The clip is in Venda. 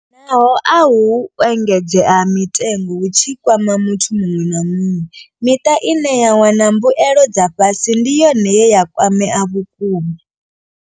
Naho ahu u engedzea ha mitengo hu tshi kwama muthu muṅwe na muṅwe, miṱa ine ya wana mbuelo dza fhasi ndi yone ye ya kwamea vhukuma.